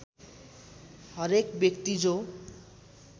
हरेक व्यक्ति जो